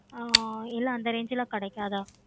ஹம் இல்லை அந்த range லா கிடைக்காத